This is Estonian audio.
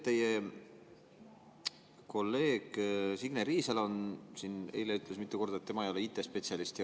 Teie kolleeg Signe Riisalo ütles siin eile mitu korda, et tema ei ole IT‑spetsialist.